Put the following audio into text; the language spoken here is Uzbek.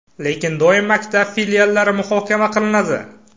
Lekin doim maktab filiallari muhokama qilinadi.